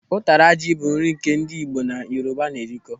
Ụtara ji bụ nri nke ndị Igbo na Yoruba na-erikọ.